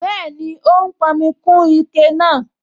Bẹ́ẹ̀ni, ó ń pọnmi kún ike náà